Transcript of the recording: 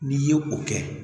N'i ye o kɛ